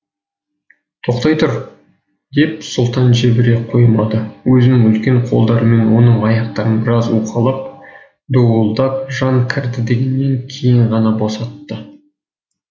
тоқтай тұр деп сұлтан жібере қоймадыөзінің үлкен қолдарымен оның аяқтарын біраз уқалап дуылдап жан кірді дегеннен кейін ғана босатты